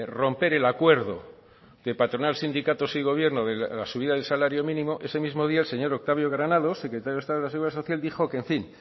romper el acuerdo de patronal sindicatos y gobierno de la subida del salario mínimo ese mismo día el señor octavio granados secretario de estado de la seguridad social dijo